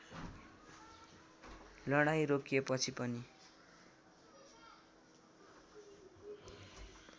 लडाईँँ रोकिएपछि पनि